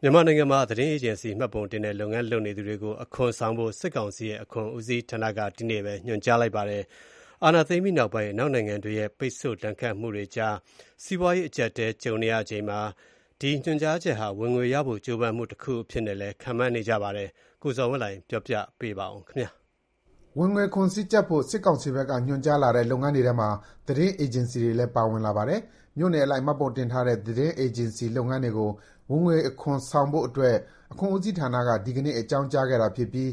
မြန်မာနိုင်ငံမှာ သတင်းအေဂျင်စီ မှတ်ပုံတင်နဲ့ လုပ်ငန်းလုပ်နေသူတွေကို အခွန်ဆောင်ဖို့ စစ်ကောင်စီရဲ့ အခွန်ဦးစီးဌာနက ဒီကနေ့ပဲ ညွှန်ကြားလိုက်ပါတယ်။ စစ်အာဏာသိမ်းပြီးနောက်ပိုင်း အနောက်နိုင်ငံတွေရဲ့ ပိတ်ဆို့ဒဏ်ခတ်မှုတွေကြား စီးပွားရေး အကြပ်အတည်းတွေ ကြုံနေရချိန်မှာ စစ်ကောင်စီရဲ့ ညွှန်ကြားချက်ဟာ ဝင်ငွေရဖို့ ကြိုးပမ်းမှု တခုအဖြစ်နဲ့လည်း ခန့်မှန်းနေကြတာပါ။ ဒီအကြောင်း ရန်ကုန်ကသတင်းပေးပို့ထားတာကို ကိုဇော်ဝင်းလှိုင် ပြောပြမှာပါ။ ဝင်ငွေခွန်စည်းကြပ်ဖို့ စစ်ကောင်စီဘက်က ညွှန်ကြားလာတဲ့ လုပ်ငန်းတွေထဲမှာ သတင်းအေဂျင်စီတွေလည်း ပါဝင်လာပါတယ်။ မြို့နယ်အလိုက် မှတ်ပုံတင်ထားတဲ့ သတင်းအေဂျင်စီလုပ်ငန်းတွေကို ဝင်ငွေခွန်ဆောင်ဖို့အတွက် အခွန်ဦးစီးဌာနက ဒီနေ့ အကြောင်းကြားခဲ့တာဖြစ်ပြီး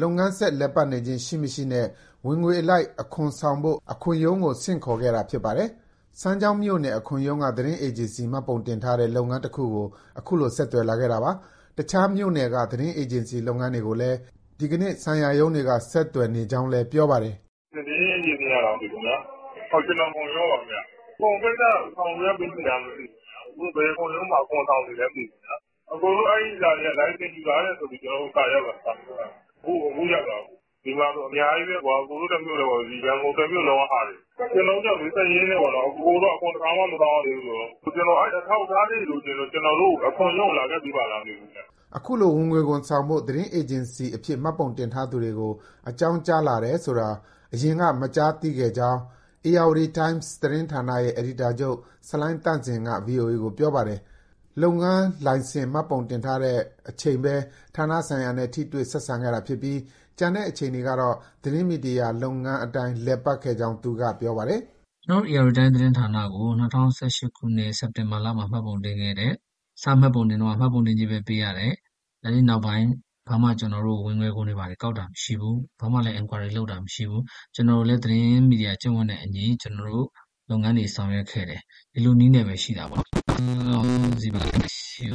လုပ်ငန်းဆက်လည်ပတ်နေခြင်း ရှိမရှိနဲ့ ဝင်ငွေအလိုက် အခွန်ဆောင်ဖို့ အခွန်ရုံးကို ဆင့်ခေါ်ခဲ့တာ ဖြစ်ပါတယ်။ စမ်းချောင်းမြို့နယ် အခွန်ရုံးက သတင်းအေဂျင်စီ မှတ်ပုံတင်ထားတဲ့ လုပ်ငန်းတခုကို အခုလို ဆက်သွယ်လာခဲ့တာပါ။ တခြားမြို့နယ်က သတင်းအေဂျင်စီလုပ်ငန်းတွေကိုလည်း ဒီကနေ့ ဆိုင်ရာရုံးတွေက ဆက်သွယ်နေကြောင်း ပြောပါတယ်။ " သတင်းအေဂျင်စီကလားခင်ဗျာ ကျနော် အခွန်ရုံးကပါခင်ဗျ၊ အခွန်ကိစ္စ ဆောင်ရွက်ပြီးပြီလား မသိဘူး၊ ဘယ်အခွန်ရုံးမှာ အခွန်ဆောင်နေလဲ မသိဘူး၊ အစ်ကိုတို့ လိုင်စင်ယူထားတယ်ဆိုပြီး ကျနော်တို့ဆီ စာရောက်လာတာ အခုရောက်တာ။ ဒီမှာဆို အများကြီးပဲ အစ်ကိုတို့ တမြို့နယ်ထဲတင် မဟုတ်ဘူး ရန်ကုန် တမြို့နယ်လုံးကဟာတွေ။ ကျနော်တို့က ဒီစာရင်းနဲ့ပေါ့ အစ်ကိုတို့ အခွန်တခါမှ မဆောင်ရသေးဘူးဆိုတော့ ကျနော်တို့ အဲဒီအထောက် အထားလေးတွေ လိုချင်လို့ ကျနော်တို့ အခွန်ရုံးကို လာခဲ့ပေးပါလား။" အခုလို ဝင်ငွေခွန်ဆောင်ဖို့ သတင်းအေဂျင်စီအဖြစ် မှတ်ပုံတင်ထားသူတွေကို အကြောင်းကြား လာတယ်ဆိုတာ ယခင်က မကြားသိခဲ့ကြောင်း Ayeyarwaddy Times သတင်းဌာနရဲ့ အယ်ဒီတာချုပ် ဆလိုင်းသန့်စင်က ဗွီအိုအေကို ပြောပါတယ်။ လုပ်ငန်းလိုင်စင် မှတ်ပုံတင်တဲ့အချိန်ပဲ ဌာနဆိုင်ရာနဲ့ ထိတွေ့ဆက်ဆံခဲ့တာရှိပြီး ကျန်တဲ့အချိန်တွေကတော့ သတင်းမီဒီယာ လုပ်ငန်းအတိုင်း လည်ပတ်ခဲ့ကြောင်း သူကပြောပါတယ်။ " ကျနော်တို့ Ayeyarwaddy Times သတင်းဌာနကို ၂၀၁၈ခုနှစ်၊ စက်တင်ဘာလမှာ မှတ်ပုံတင်ခဲ့တယ်။ စမှတ်ပုံတင်တုန်းက မှတ်ပုံတင်ကြေးပဲ ပေးရတယ်၊ အဲဒီနောက်ပိုင်း ဘာမှကျနော်တို့ကို ဝင်ငွေခွန်တွေ ကောက်တာမရှိဘူး။ ဘာမှလည်း enquiry မရှိဘူး။ ကျနော်တို့လည်း သတင်းမီဒီယာ ကျင့်ဝတ်နဲ့အညီ ကျနော်တို့ လုပ်ငန်းတွေ ဆောင်ရွက်ခဲ့တယ်။ ဒီလိုနည်းနဲ့ပဲ ရှိတာပေါ့နော်။ အခုကတော့ စစ်ကောင်စီဘက်ကနေ သတင်းမီဒီယာတွေဆီကို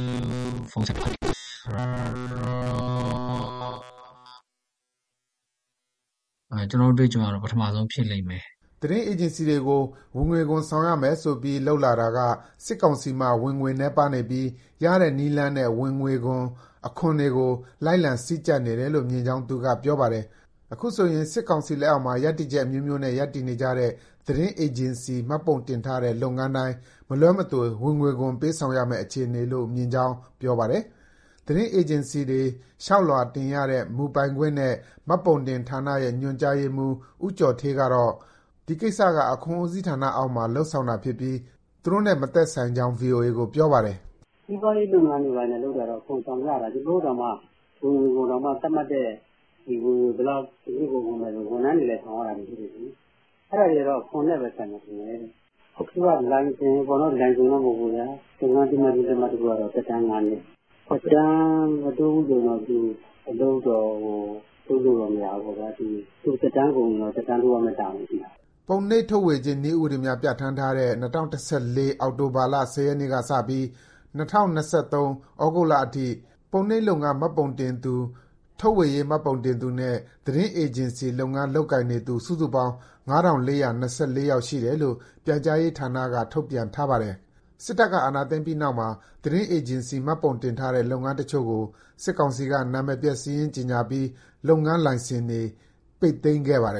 ဖုန်းဆက်ပြီးတော့ အဲလိုမျိုးတွေ ဝင်ငွေခွန်ဆောင်ဖို့ လုပ်တယ်ဆိုတာတော့ ကျနော်တို့ အတွေ့အကြုံအရ ပထမဆုံး ဖြစ်လိမ့်မယ်။" သတင်းအေဂျင်စီတွေကို ဝင်ငွေခွန်ဆောင်ရမယ်ဆိုပြီး လုပ်လာတာက စစ်ကောင်စီမှာ ဝင်ငွေနည်းပါးနေပြီး ရတဲ့နည်းလမ်းနဲ့ ဝင်ငွေခွန်၊ အခွန်တွေကို လိုက်လံစည်းကြပ်နေတယ်လို့ မြင်ကြောင်း သူကပြောပါတယ်။ အခုဆိုရင် စစ်ကောင်စီလက်အောက်မှာ ရပ်တည်ချက် အမျိုးမျိုးနဲ့ ရပ်တည်နေတဲ့ သတင်းအေဂျင်စီ မှတ်ပုံတင်ထားတဲ့ လုပ်ငန်းတိုင်း မလွှဲမသွေ ဝင်ငွေခွန် ပေးဆောင်ရမဲ့ အခြေအနေလို့ မြင်ကြောင်း ပြောပါတယ်။ သတင်းအေဂျင်စီတွေ လျှောက်လွှာတင်ရတဲ့ မူပိုင်ခွင့်နှင့် မှတ်ပုံတင်ဌာနရဲ့ ညွှန်ကြားရေးမှူး ဦးကျော်ဌေးကတော့ ဒီကိစ္စက အခွန်ဦးစီးဌာနအောက်မှာ လုပ်ဆောင်တာဖြစ်ပြီး သူတို့အနေနဲ့မသက်ဆိုင်ကြောင်း ဗွီအိုအေကို ပြောပါတယ်။ " စီးပွားရေးလုပ်ငန်းတွေ လုပ်ရင် အခွန်ဆောင်ကြတာ၊ ကျနော်တို့တောင်မှ ဝင်ငွေခွန်ကို သတ်မှတ်တဲ့ ဝင်ငွေဘယ်လောက်ဆို ဝန်ထမ်းတွေလည်း ဆောင်ရတာရှိတယ်လေ။ အဲဒါကတော့ အခွန်နဲ့ပဲဆိုင်မယ် ထင်တယ်။ အခုက လိုင်စင်မှတ်ပုံတင်က လုပ်ငန်း အသိအမှတ်ပြု လက်မှတ်က သက်တမ်းငါးနှစ်၊ သက်တမ်း မတိုးဘူးဆိုရင်တော့ အလုပ်တော့ လုပ်လို့မရဘူးပေါ့။ သက်တမ်းကုန်ရင်တော့ သက်တမ်းတိုးရမဲ့ တာဝန် ရှိပါတယ်။" ပုံနှိပ်ထုတ်ဝေခြင်း နည်းဥပဒေများပြဋ္ဌာန်းသည့် ၂၀၁၄ အောက်တိုဘာလ ၁၀ ရက်ကစပြီး ၂၀၂၃ ဩဂုတ်လအထိ ပုံနှိပ်လုပ်ငန်း မှတ်ပုံတင်သူ၊ ထုတ်ဝေရေး မှတ်ပုံတင်သူနဲ့ သတင်းအေဂျင်စီလုပ်ငန်း လုပ်ကိုင်နေသူ စုစုပေါင်း ၅၄၂၄ ယောက် ရှိတယ်လို့ ပြန်ကြားရေးဌာနက ထုတ်ပြန်ထားပါတယ်။ အာဏာသိမ်းပြီးနောက်မှာ သတင်းအေဂျင်စီ မှတ်ပုံတင်ထားတဲ့ လုပ်ငန်းတချို့ကို စစ်ကောင်စီက နာမည်ပျက်စာရင်း ကြေညာပြီး လုပ်ငန်းလိုင်စင်တွေ ပိတ်သိမ်းခဲ့ပါတယ်